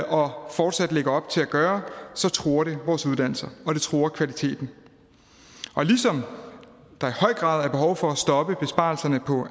og fortsat lægger op til at gøre truer det vores uddannelser og det truer kvaliteten ligesom der i høj grad er behov for at stoppe besparelserne på